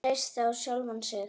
Að treysta á sjálfan sig.